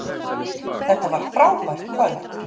Þetta var frábært kvöld